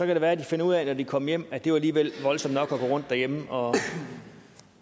kan være de finder ud af når de er kommet hjem at det var lige vel voldsomt nok at gå rundt derhjemme og